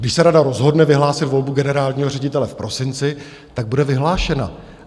Když se rada rozhodne vyhlásit volbu generálního ředitele v prosinci, tak bude vyhlášena.